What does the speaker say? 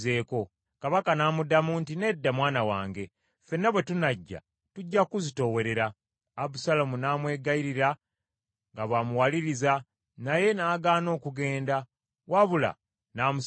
Kabaka n’amuddamu nti, “Nedda, mwana wange. Ffenna bwe tunajja, tujja kuzitoowerera.” Abusaalomu n’amwegayirira nga bw’amuwaliriza, naye n’agaana okugenda, wabula n’amusabira omukisa.